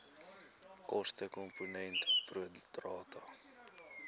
kostekomponent pro rata